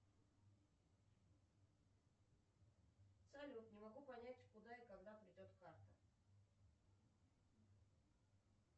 салют не могу понять куда и когда придет карта